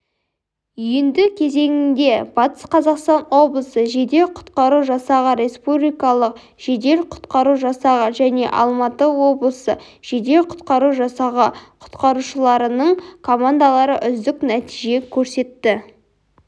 үйінді кезеңінде батыс қазақстан облысы жедел-құтқару жасағы республикалық жедел-құтқару жасағы және алматы облысы жедел-құтқару жасағы құтқарушыларының командалары үздік нәтиже көрсетті